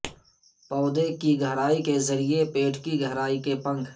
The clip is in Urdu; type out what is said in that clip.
پودے کی گہرائی کے ذریعے پیٹ کی گہرائی کی پنکھ